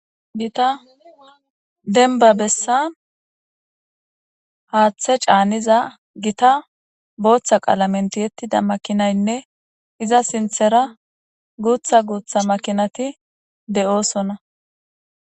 gita denba bessa haaththe caaniza gita booththa qaala menti yettida makinaynne iza sinthera guutha guutha makinati de7oosonna